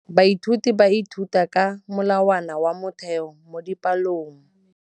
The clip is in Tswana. Baithuti ba ithuta ka molawana wa motheo mo dipalong.